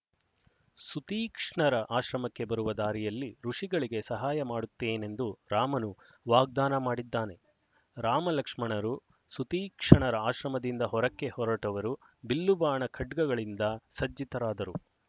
ಸುತೀಕ್ಷ್ಣರ ಆಶ್ರಮಕ್ಕೆ ಬರುವ ದಾರಿಯಲ್ಲಿ ಋಷಿಗಳಿಗೆ ಸಹಾಯಮಾಡುತ್ತೇನೆಂದು ರಾಮನು ವಾಗ್ದಾನ ಮಾಡಿದ್ದಾನೆ ರಾಮಲಕ್ಷ್ಮಣರು ಸುತೀಕ್ಷ್ಣರ ಆಶ್ರಮದಿಂದ ಹೊರಕ್ಕೆ ಹೊರಟವರು ಬಿಲ್ಲುಬಾಣ ಖಡ್ಗಗಳಿಂದ ಸಜ್ಜಿತರಾದರು